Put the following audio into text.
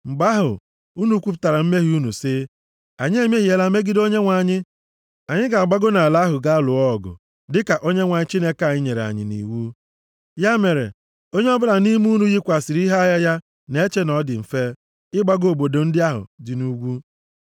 Mgbe ahụ, unu kwupụtara mmehie unu sị, “Anyị emehiela megide Onyenwe anyị. Anyị ga-agbago nʼala ahụ gaa lụọ ọgụ, dịka Onyenwe anyị Chineke anyị nyere anyị nʼiwu.” Ya mere, onye ọbụla nʼime unu yikwasịrị ihe agha ya na-eche na ọ dị mfe ịgbago nʼobodo ndị ahụ dị nʼugwu.